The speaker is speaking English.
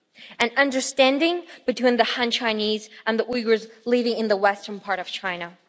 and understanding between the Han Chinese and the Uyghurs living in the western part of China.